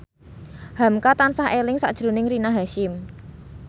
hamka tansah eling sakjroning Rina Hasyim